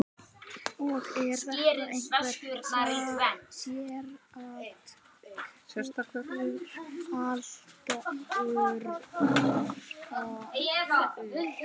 Og er þetta einhver sérstakur aldurshópur eða er munur á kynjum eða eitthvað svoleiðis?